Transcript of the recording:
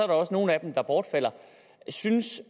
også nogle af dem der bortfalder synes